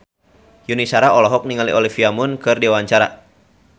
Yuni Shara olohok ningali Olivia Munn keur diwawancara